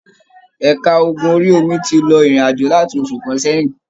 Ẹ̀ka ogun orí-omi tí lọ irin-ajo láti oṣù kàn sẹyìn.